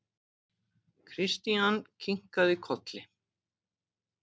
Christian kinkaði kolli.